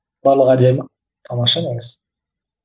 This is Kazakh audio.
барлығы әдемі тамаша бәрі